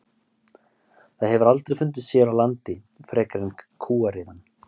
Það hefur aldrei fundist hér á landi frekar en kúariðan.